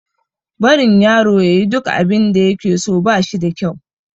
Barin yaro ya yi duk abinda ya ke so, ba shi da kyau.